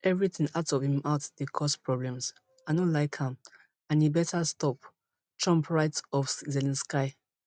everything out of im mouth dey cause problems i no like am and e better stop trump write of zelensky